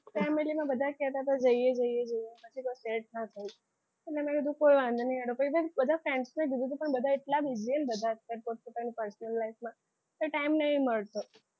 Family માં બધા કહેતા હતા જઈએ જઈએ છીએ પછી કંઈ set ના થયું પછી મેં કીધું કંઈ વાંધો નહીં. બધા friends ને કીધું હતું પણ બધા એટલા busy છે ને પોત પોતાની pesnol life માં એટલે time નહીં મળતો.